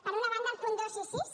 per una banda els punts dos i sis